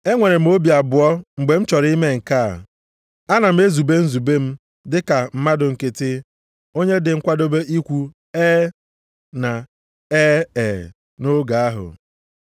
E nwere m obi abụọ mgbe m chọrọ ime nke a? Ana m ezube nzube m dịka mmadụ nkịtị, onye dị nkwadobe ikwu “E,” na “E e,” nʼotu oge ahụ?